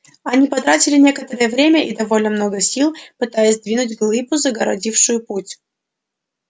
они потратили некоторое время и довольно много сил пытаясь сдвинуть глыбу загородившую путь